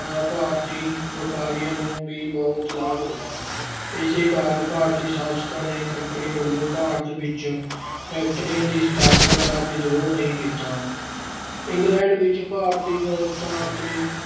ਦਾ ਭਾਰਤੀ ਵਪਾਰੀਆਂ ਨੂੰ ਵੀ ਬਹੁਤ ਲਾਭ ਹੋਇਆ। ਇਸ ਕਾਰਨ ਭਾਰਤੀ ਸ਼ਾਸਕਾਂ ਨੇ company ਵੱਲੋਂ ਦੇਸ਼ ਵਿੱਚ factories ਦੀ ਸਥਾਪਨਾ ਦਾ ਵਿਦਰੋਹ ਨਹੀਂ ਕੀਤਾ। England ਵਿੱਚ ਭਾਰਤੀ ਵਸਤਾਂ ਅਤੇ